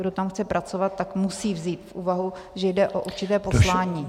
Kdo tam chce pracovat, tak musí vzít v úvahu, že jde o určité poslání.